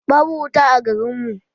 Babu wuta a garin mu.